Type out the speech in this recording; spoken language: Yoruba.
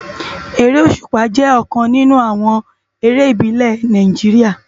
Éré ósúpá jè òkán ninú àwòn éré ibilè ni Náijiriá